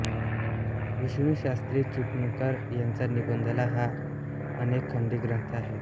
विष्णुशास्त्री चिपळूणकर यांचा निबंधमाला हा अनेकखंडी ग्रंथ आहे